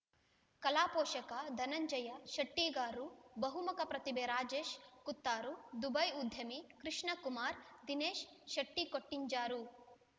ಕಲಾಪೋಷಕ ಧನಂಜಯ ಶೆಟ್ಟಿರ್ಗಾ ಬಹುಮುಖ ಪ್ರತಿಭೆ ರಾಜೇಶ್ ಕುತ್ತಾರು ದುಬೈಯ ಉದ್ಯಮಿ ಕೃಷ್ಣಕುರ್ಮಾದಿನೇಶ ಶೆಟ್ಟಿಕೊಟ್ಟಿಂಜರು